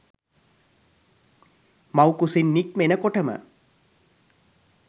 මව්කුසින් නික්මෙන කොටම